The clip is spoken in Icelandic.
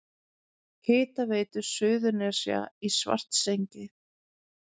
Hitaveitu Suðurnesja í Svartsengi.